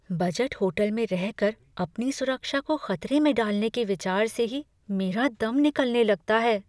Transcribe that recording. Budget hotel में रहकर अपनी सुरक्षा को ख़तरे में डालने के विचार से ही मेरा दम निकलने लगता है।